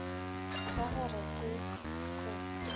ra go re ke go